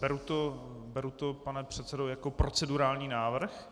Beru to, pane předsedo, jako procedurální návrh.